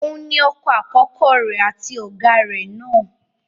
Òun ni ọkọ àkọ́kọ́ rẹ̀, àti ọ̀gá rẹ̀ náà.